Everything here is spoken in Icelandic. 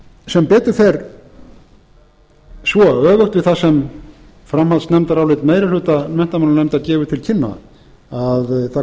sem betur fer svo að öfugt við það sem framhaldsnefndarálit meiri hluta menntamálanefndar gefur til kynna